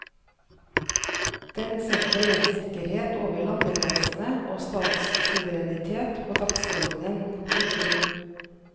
Den setter rettssikkerhet over landegrensene og statssuverenitet på dagsordenen. punktum